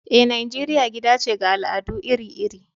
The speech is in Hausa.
Eh, Nijeriya gida ce ga al’adu iri-iri.